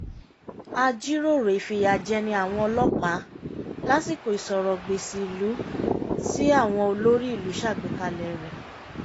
a jíròrò ìfìyà jẹni àwọn ọlọ́pàá lásìkò ìsọ̀rọǹgbèsì ìlú tí àwọn olórí ìlú ṣàgbékalẹ̀ rẹ̀